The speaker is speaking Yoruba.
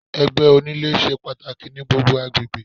Ẹgbẹ́ onílé ṣe pàtàkì ní gbogbo agbègbè.